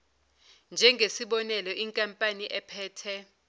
njengesibonelo inkampani ephethe